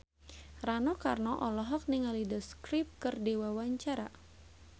Rano Karno olohok ningali The Script keur diwawancara